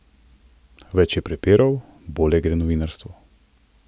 Več je prepirov, bolje gre novinarstvu.